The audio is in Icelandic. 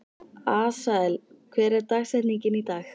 Asael, hver er dagsetningin í dag?